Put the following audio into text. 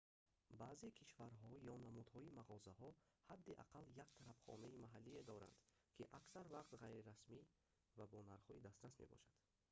баъзе кишварҳо ё намудҳои мағозаҳо ҳадди аққал як тарабхонаи маҳаллие доранд ки аксар вақт ғайрирасмӣ ва бо нархҳои дастрас мебошад